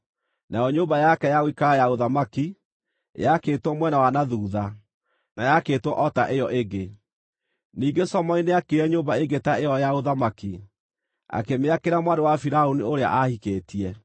Nayo nyũmba yake ya gũikara ya ũthamaki, yaakĩtwo mwena wa na thuutha, na yaakĩtwo o ta ĩyo ĩngĩ. Ningĩ Solomoni nĩaakire nyũmba ĩngĩ ta ĩyo ya ũthamaki, akĩmĩakĩra mwarĩ wa Firaũni ũrĩa aahikĩtie.